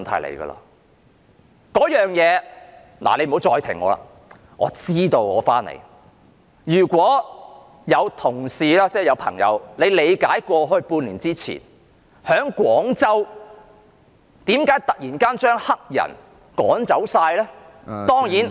這件事情——主席，你不要再打斷我了，我知道要返回議題的——如果有同事曾經理解半年前為何廣州突然要把黑人全部趕走，當然......